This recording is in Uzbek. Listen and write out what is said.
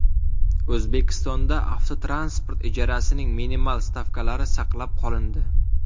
O‘zbekistonda avtotransport ijarasining minimal stavkalari saqlab qolindi.